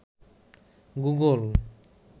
Google